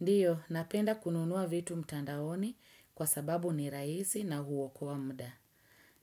Ndiyo, napenda kununuwa vitu mtandaoni kwa sababu ni raisi na huo kwa muda.